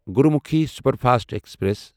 گرٗومُکھی superfast express